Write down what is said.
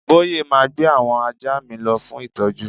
Boye ma gbé àwọn ajá mi lọ fún ìtọ́jú